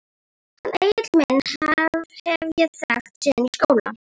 Hann Egil minn hef ég þekkt síðan í skóla.